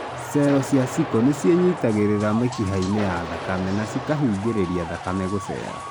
Cello cia sickle nĩcienyitangĩrĩra mĩkihanĩ ya thakame na cikahiingĩrĩria thakame gũcera.